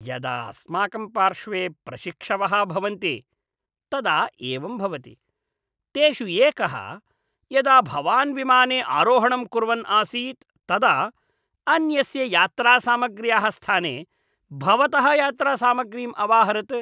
यदा अस्माकं पार्श्वे प्रशिक्षवः भवन्ति तदा एवं भवति। तेषु एकः, यदा भवान् विमाने आरोहणं कुर्वन् आसीत् तदा अन्यस्य यात्रासामग्र्याः स्थाने भवतः यात्रासामग्रीम् अवाहरत्।